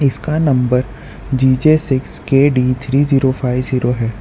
इसका number G J six K D three zero five zero है।